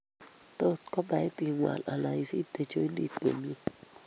Tot komait ingwal ala isibte joindit komyee